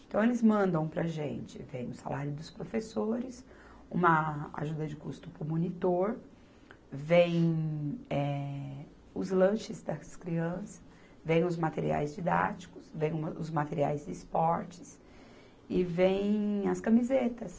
Então, eles mandam para a gente, vem o salário dos professores, uma ajuda de custo para o monitor, vem eh, os lanches das crianças, vem os materiais didáticos, vem o, os materiais de esportes e vem as camisetas.